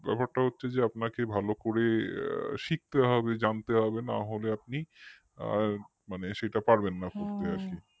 ব্যাপারটা হচ্ছে যে আপনাকে ভালো করে শিখতে হবে জানতে হবে না হলে আপনি আ সেটা পারবেন না করতে আর কি